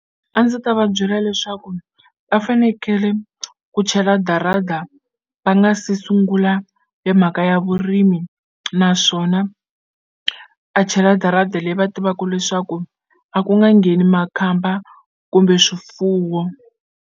A ndzi ta va byela leswaku va fanekele ku chela darada va nga se sungula hi mhaka ya vurimi naswona a chela darada leyi va tivaku leswaku a ku nga ngheni makhamba kumbe swifuwo.